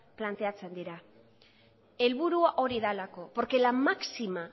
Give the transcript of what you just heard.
planteatzen dira helburua hori delako porque la máxima